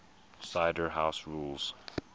cider house rules